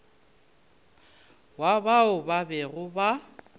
wa bao ba bego ba